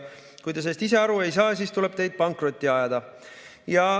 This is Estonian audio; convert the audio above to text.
Kui te sellest ise aru ei saa, siis tuleb teid pankrotti ajada.